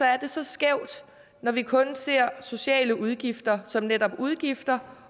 er det så skævt når vi kun ser sociale udgifter som netop udgifter